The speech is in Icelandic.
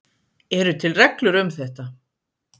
Eru til reglur um þetta?